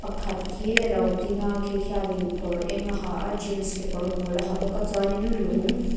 pakhat khi alo ding a khi khianin kawr eng a ha a jeans kekawr bul a ha bawk a chuanin lung--